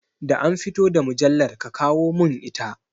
Da an fito da mujallar, ki kawo mun ita!